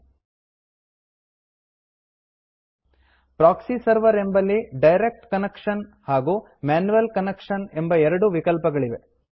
proxy server proxy setting ಎಂಬಲ್ಲಿ direct connection direct connection ಹಾಗೂ manual connection manual connection ಎಂಬ ಎರಡು ವಿಕಲ್ಪಗಳಿವೆ